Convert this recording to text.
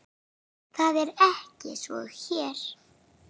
Það er ekki svo hér.